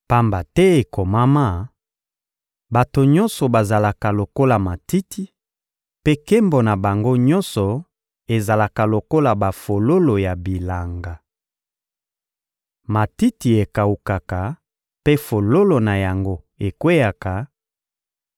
Pamba te ekomama: «Bato nyonso bazalaka lokola matiti, mpe nkembo na bango nyonso ezalaka lokola bafololo ya bilanga. Matiti ekawukaka mpe fololo na yango ekweyaka,